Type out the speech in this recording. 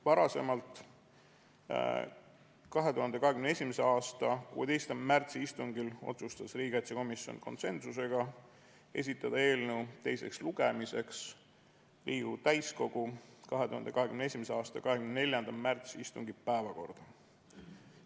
Varem, 2021. aasta 16. märtsi istungil otsustas riigikaitsekomisjon konsensusega esitada eelnõu teiseks lugemiseks Riigikogu täiskogu 24. märtsi istungi päevakorda.